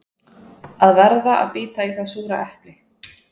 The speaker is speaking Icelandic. Að verða að bíta í það súra epli